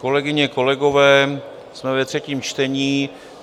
Kolegyně, kolegové, jsme ve třetím čtení.